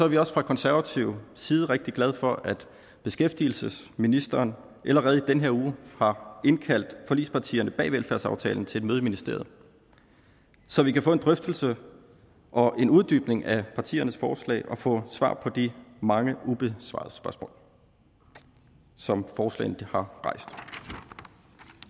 vi også fra konservativ side rigtig glade for at beskæftigelsesministeren allerede i den her uge har indkaldt forligspartierne bag velfærdsaftalen til et møde i ministeriet så vi kan få en drøftelse og en uddybning af partiernes forslag og få svar på de mange ubesvarede spørgsmål som forslagene har rejst